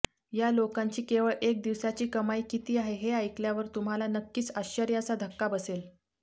या लोकांची केवळ एक दिवसाची कमाई किती आहे हे ऐकल्यावर तुम्हाला नक्कीच आश्चर्याचा धक्का बसेल